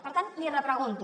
per tant l’hi repregunto